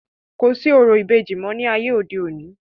kò sí orò ìbejì mọ́ ní ayé òde òni